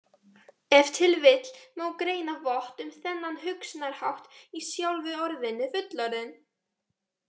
Ef til vill má greina vott um þennan hugsunarhátt í sjálfu orðinu fullorðinn.